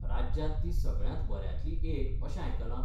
राज्यांत ती सगळ्यांत बऱ्यांतली एक अशें आयकलां?